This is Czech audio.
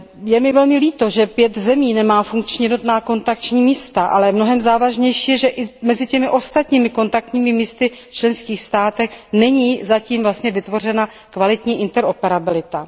Je mi velmi líto, že pět zemí nemá funkční jednotná kontaktní místa, ale mnohem závažnější je, že i mezi těmi ostatními kontaktními místy v členských státech není zatím vlastně vytvořena kvalitní interoperabilita.